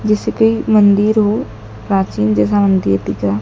जिस की मंदिर हो प्राचीन जैसा मंदिर दिख रहा।